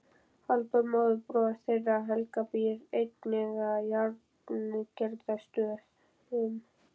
Halldór móðurbróðir þeirra Helga býr einnig að Járngerðarstöðum.